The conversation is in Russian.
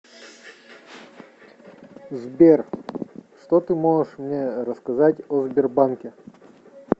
сбер что ты можешь мне рассказать о сбербанке